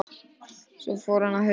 Svo fór hann að hugsa.